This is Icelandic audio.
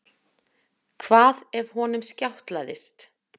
Hvað ef honum skjátlaðist?